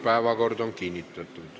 Päevakord on kinnitatud.